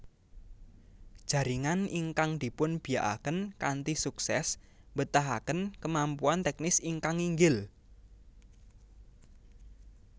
Jaringan ingkang dipunbiakaken kanthi suksés mbetahahken kemampuan teknis ingkang inggil